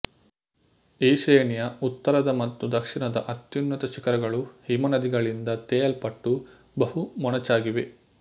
ಈ ಶ್ರೇಣಿಯ ಉತ್ತರದ ಮತ್ತು ದಕ್ಷಿಣದ ಅತ್ಯುನ್ನತ ಶಿಖರಗಳು ಹಿಮನದಿಗಳಿಂದ ತೇಯಲ್ಪಟ್ಟು ಬಹು ಮೊನಚಾಗಿವೆ